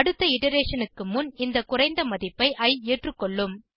அடுத்த இட்டரேஷன் க்கு முன் இந்த குறைந்த மதிப்பை இ ஏற்றுக்கொள்ளும்